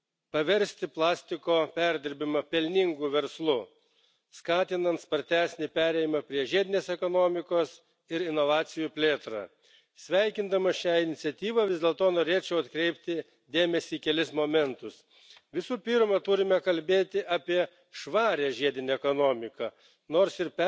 v tom, že v rámci programu Horizont 2020 sa vyčlení ďalších 100 miliónov eur na podporu investícií do riešenia obehového hospodárstva. Aj do budúcej kohéznej politiky by sme preto mali zaviesť viacúrovňové stimuly pre znižovanie produkcie plastov. Na výrobu plastov musíme